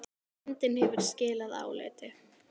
Nefndin hefur skilað áliti.